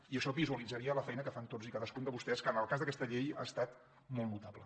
i això visualitzaria la feina que fan tots i cadascun de vostès que en el cas d’aquesta llei ha estat molt notable